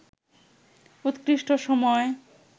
উৎকৃষ্ট সময়